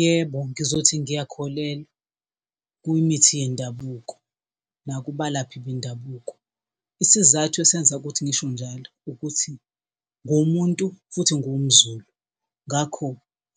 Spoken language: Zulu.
Yebo, ngizothi ngiyakholelwa kuyimithi yendabuko nakubalaphi bendabuko. Isizathu esenza ukuthi ngisho njalo ukuthi ngiwumuntu, futhi ngiwumZulu. Ngakho,